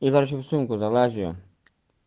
я короче в сумку залазию